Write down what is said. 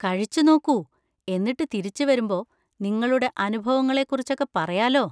കഴിച്ചു നോക്കൂ; എന്നിട്ട് തിരിച്ചുവരുമ്പോ നിങ്ങളുടെ അനുഭവങ്ങളെ കുറിച്ചൊക്കെ പറയാലോ.